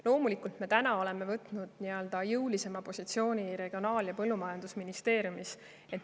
Loomulikult me täna oleme võtnud jõulisema positsiooni Regionaal- ja Põllumajandusministeeriumis.